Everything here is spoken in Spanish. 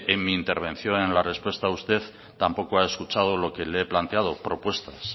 en mi intervención en la respuesta usted tampoco ha escuchado lo que le he planteado propuestas